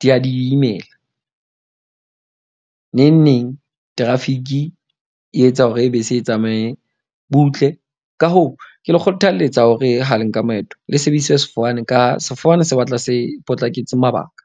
di a di imela. Neng neng traffic-i e etsa hore bese e tsamaye butle. Ka hoo, ke le kgothalletsa hore ha le nka maeto le sebedise sefofane ka ha sefofane se batla se potlaketse mabaka.